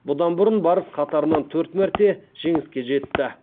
бұдан бұрын барыс қатарынан төрт мәрте жеңіске жетті